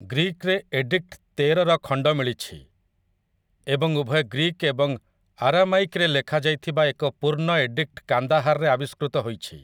Greek ରେ edict ତେରର ଖଣ୍ଡ ମିଳିଛି, ଏବଂ ଉଭୟ ଗ୍ରୀକ୍ ଏବଂ ଆରାମାଇକ୍ ରେ ଲେଖାଯାଇଥିବା ଏକ ପୂର୍ଣ୍ଣ ଏଡିକ୍ଟ କାନ୍ଦାହାରରେ ଆବିଷ୍କୃତ ହୋଇଛି ।